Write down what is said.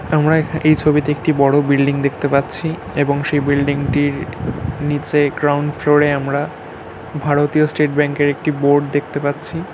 আমরা এই ছবিতে একটি বড় বিল্ডিং দেখতে পাচ্ছি এবং সেই বিল্ডিং -টির নিচে গ্রাউন্ড ফ্লোর -এ আমরা ভারতীয় স্টেট ব্যাংক এর একটি বোর্ড দেখতে পাচ্ছি।